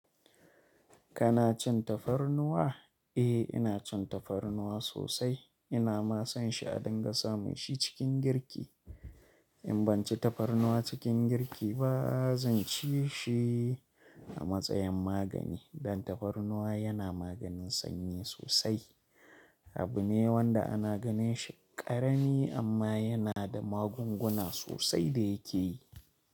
Kana cin tafarnuwa? Eh, ina cin tafarnuwa sosai. Ina ma son shi a dinga samun shi cikin girki. In ban ci tafarnuwa cikin girki ba, zan ci shi a matsayin magani dan tafarnuwa yana maganin sanyi sosai. Abu ne wanda ana ganin shi ƙarami amma yana da magunguna sosai da yake yi.